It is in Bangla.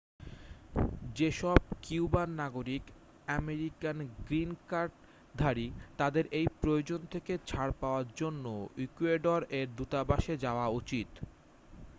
যেসব কিউবান নাগরিক আমেরিকান গ্রিন কার্ডধারী তাদের এই প্রয়োজন থেকে ছাড় পাওয়ার জন্য ইকুয়েডর-এর দূতাবাসে যাওয়া উচিত